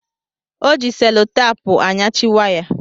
Ọ ji selotapu anyachị waya